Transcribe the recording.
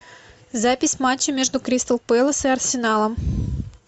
запись матча между кристал пэлас и арсеналом